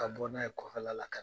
Ka bɔ n'a ye kɔfɛla la ka